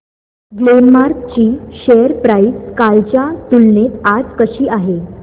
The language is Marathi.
ग्लेनमार्क ची शेअर प्राइस कालच्या तुलनेत आज कशी आहे